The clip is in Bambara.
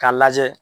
K'a lajɛ